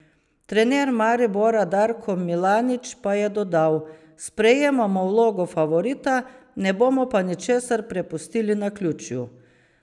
Trener Maribora Darko Milanič pa je dodal: "Sprejemamo vlogo favorita, ne bomo pa ničesar prepustili naključju.